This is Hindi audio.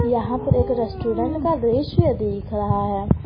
यहां पर एक रेस्टोरेंट का दृश्य दिख रहा है।